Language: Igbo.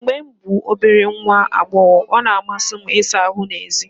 Mgbe m bụ obere nwa agbọghọ, ọ na-amasị m ịsa ahụ́ n’èzí.